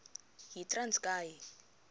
yitranskayi